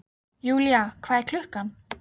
Julia, hvað er klukkan?